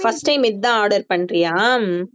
first time இதான் order பண்றியா